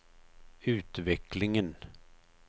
utvecklingen